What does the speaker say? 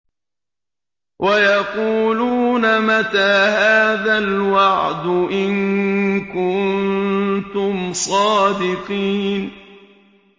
وَيَقُولُونَ مَتَىٰ هَٰذَا الْوَعْدُ إِن كُنتُمْ صَادِقِينَ